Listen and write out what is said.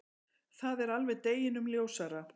Það er alveg deginum ljósara.